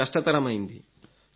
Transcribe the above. చాలా కష్టతరమైంది